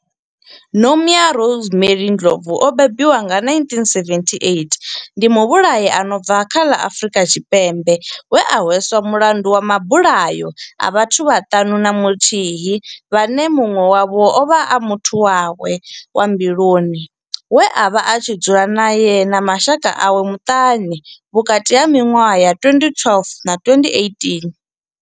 Nomia Rosemary Ndlovu o bebiwaho nga 1978 ndi muvhulahi a no bva kha ḽa Afurika Tshipembe we a hweswa mulandu wa mabulayo a vhathu vhaṱanu na muthihi vhane munwe wavho ovha a muthu wawe wa mbiluni we avha a tshi dzula nae na mashaka awe maṱanu vhukati ha minwaha ya 2012 na 2018.